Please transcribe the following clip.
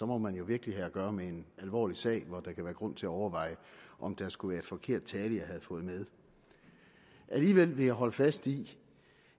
må man jo virkelig have at gøre med en alvorlig sag hvor der kan være grund til overveje om det skulle være en forkert tale jeg har fået med alligevel vil jeg holde fast i